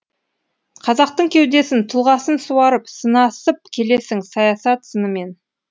қазақтың кеудесін тұлғасын суарып сынасып келесің саясат сынымен